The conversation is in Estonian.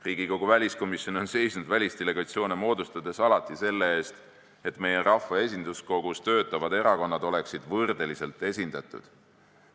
Riigikogu väliskomisjon on seisnud välisdelegatsioone moodustades alati selle eest, et meie rahva esinduskogus töötavad erakonnad oleksid võrdeliselt esindatud.